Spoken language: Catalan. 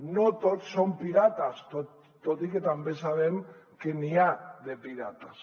no tots són pirates tot i que també sabem que n’hi ha de pirates